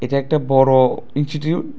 একটা বড়ো ইনস্টিটিউট ।